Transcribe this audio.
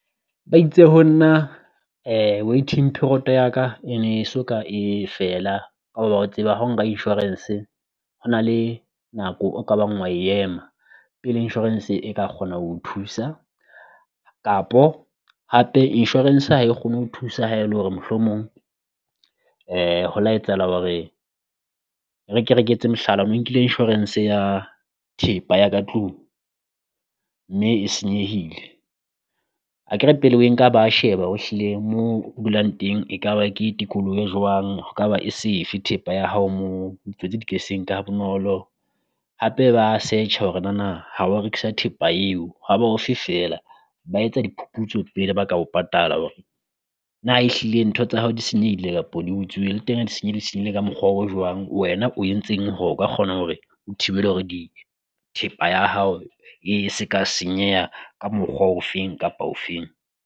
Ba itse ho nna waiting period ya ka e ne e so ka e fela, ha o ba o tseba ha o nka insurance hona le nako o ka bang wa ema pele insurance e ka kgona ho o thusa. Kapo hape insurance ha e kgone ho o thusa ha e le hore mohlomong ho la etsahala hore re ke re ke etse mohlala o no nkile insurance ya thepa ya ka tlung, mme e senyehile akere pele o e nka ba sheba hore ehlile moo dulang teng ekaba ke tikoloho e jwang ho ka ba e safe thepa ya hao moo ditsotsi di ka se e nke ha bonolo, hape ba search-a hore nana ha wa rekisa thepa eo ha ba ofe feela. Ba etsa diphuputso pele ba ka bo patala hore na ehlile ntho tsa hao di senyehile kapo di utsuwe le teng ha di senyehile di senyehile ka mokgwa o jwang, wena o entseng hore o ka kgona hore o thibela hore di thepa ya hao e se ka senyeha ka mokgwa ofeng kapa ofeng.